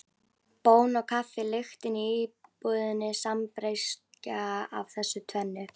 Bón og kaffi lyktin í íbúðinni sambreyskja af þessu tvennu.